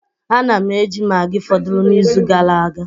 Ana m eji maggi fọdụrụ n'izu gara aga